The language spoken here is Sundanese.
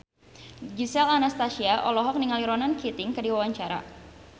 Gisel Anastasia olohok ningali Ronan Keating keur diwawancara